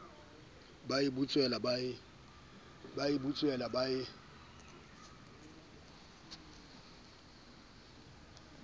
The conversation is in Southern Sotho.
ba e butswela ba e